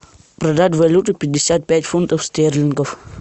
продать валюту пятьдесят пять фунтов стерлингов